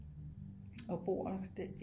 Og bor den